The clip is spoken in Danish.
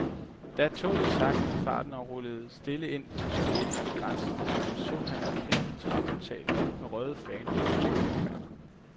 Da toget sagtnede farten og rullede stille ind på den sovjetiske grænsestation, så han en kæmpe træportal med røde faner og et stort banner.